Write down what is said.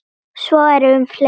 Svo er um fleiri.